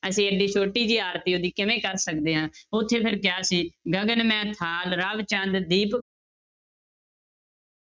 ਅਸੀਂ ਏਡੀ ਛੋਟੀ ਜਿਹੀ ਆਰਤੀ ਉਹਦੀ ਕਿਵੇਂ ਕਰ ਸਕਦੇ ਹਾਂ ਉੱਥੇ ਫਿਰ ਕਿਹਾ ਸੀ ਗਗਨ ਮੈ ਥਾਲ ਰਵਿ ਚੰਦ ਦੀਪ~